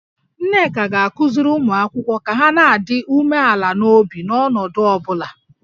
Nneka ga-akụziri ụmụ akwụkwọ ka ha na-adị umeala n'obi n'ọnọdụ ọ bụla